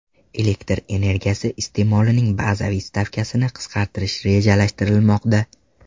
Elektr energiyasi iste’molining bazaviy stavkasini qisqartirish rejalashtirilmoqda.